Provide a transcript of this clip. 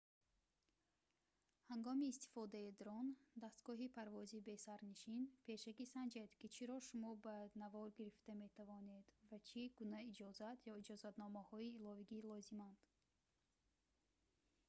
ҳангоми истифодаи дрон дастгоҳи парвози бесарнишин пешакӣ санҷед ки чиро шумо ба навор гирифта метавонад ва чӣ гуна иҷозат ё иҷозатномаҳои иловагӣ лозиманд